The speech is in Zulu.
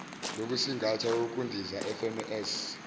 lokusingatha ukundiza fms